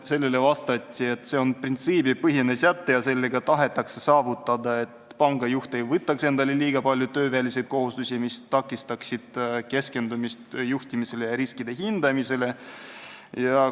Sellele vastati, et see on printsiibipõhine säte, millega tahetakse saavutada seda, et pangajuht ei võtaks endale liiga palju tööväliseid kohustusi, mis takistaksid juhtimisele ja riskide hindamisele keskendumist.